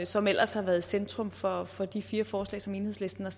som ellers har været i centrum for for de fire forslag som enhedslisten har